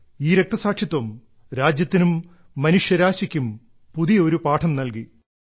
ഈ രക്തസാക്ഷിത്വം രാജ്യത്തിനും മനുഷ്യരാശിക്കും പുതിയ ഒരു പാഠം നൽകി